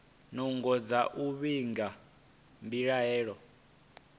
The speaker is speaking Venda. nungo dza u vhiga mbilaelo